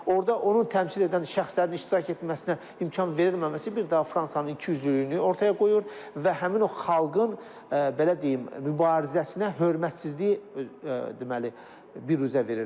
Orda onu təmsil edən şəxslərin iştirak etməsinə imkan verilməməsi bir daha Fransanın ikiüzlülüyünü ortaya qoyur və həmin o xalqın belə deyim, mübarizəsinə hörmətsizliyi, deməli, büruzə verir.